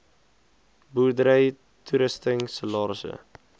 boerdery toerusting salarisse